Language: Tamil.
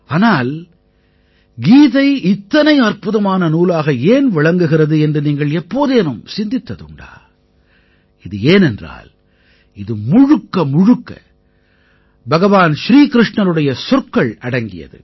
ஆனால் கீதை இத்தனை அற்புதமான நூலாக ஏன் விளங்குகிறது என்று நீங்கள் எப்போதேனும் சிந்தித்ததுண்டா இது ஏனென்றால் இது முழுக்கமுழுக்க பகவான் ஸ்ரீ கிருஷ்ணருடைய சொற்கள் அடங்கியது